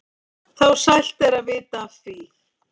þá sælt er að vita af því.